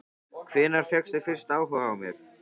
Hvenær fékkstu fyrst áhuga á mér?